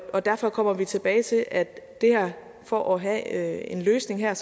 og derfor kommer vi tilbage til at for at have en løsning her